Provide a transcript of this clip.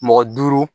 Mɔgɔ duuru